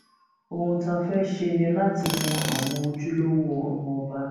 ohun tá a fẹẹ ṣe ni láti mọ àwọn ojúlówó ọmọọba